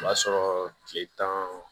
O b'a sɔrɔ tile tan